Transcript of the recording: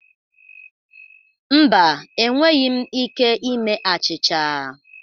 Mba, enweghị m ike ime achịcha.